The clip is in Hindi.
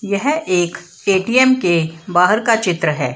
यह एक ए.टी.एम. के बाहर का चित्र है।